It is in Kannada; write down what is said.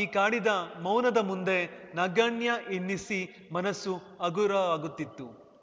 ಈ ಕಾಡಿನ ಮೌನದ ಮುಂದೆ ನಗಣ್ಯ ಎನ್ನಿಸಿ ಮನಸ್ಸು ಹಗುರಾಗುತ್ತಿತ್ತು